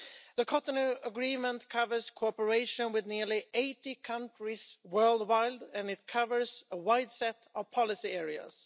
The Cotonou Agreement covers cooperation with nearly 80 countries worldwide and it covers a wide set of policy areas.